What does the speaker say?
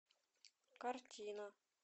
картина